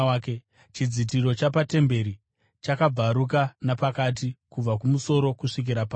Chidzitiro chapatemberi chakabvaruka napakati kubva kumusoro kusvikira pasi.